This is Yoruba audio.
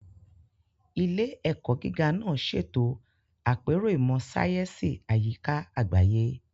Ilé-ẹ̀kọ́ gíga náà ṣètò àpérò ìmọ̀ sáyẹ́sì àyíká àgbáyé.